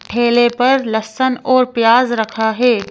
ठेले पर लहसन और प्याज रखा है।